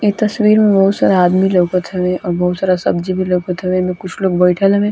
इ तस्वीर में बहुत सारा आदमी लौकत हवे और बहुत सारा सब्जी भी लौकत हवे कुछ लोग बइठल हवे।